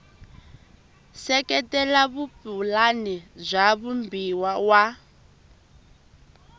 seketela vupulani bya vumbano wa